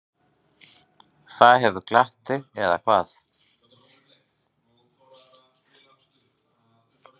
Það hefur glatt þig, eða hvað?